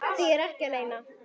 Því er ekki að leyna.